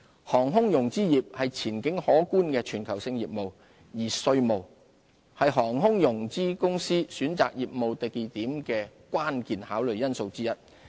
航空融資業是前景可觀的全球性業務，而稅務是航空融資公司選擇業務地點的關鍵考慮因素之一。